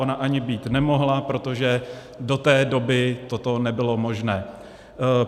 Ona ani být nemohla, protože do té doby toto nebylo možné.